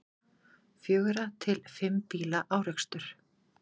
Fjögurra til fimm bíla árekstur